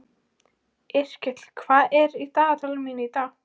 Yrkill, hvað er í dagatalinu mínu í dag?